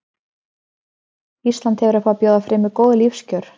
ísland hefur upp á að bjóða fremur góð lífskjör